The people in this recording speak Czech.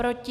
Proti?